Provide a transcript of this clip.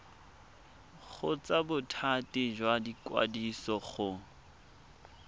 kgotsa bothati jwa ikwadiso go